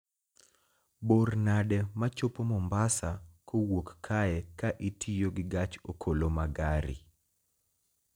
bor nade ma chopo mombasa kowuok kae ka itiyo gi gach okoloma gari